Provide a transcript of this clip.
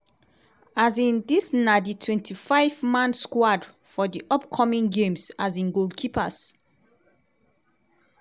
um dis na di 25- man squad for di upcoming games um goalkeepers-